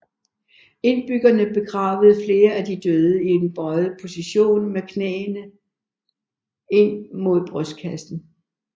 Indbyggerne begravede flere af de døde i en bøjet position med knæene ind mod brystkassen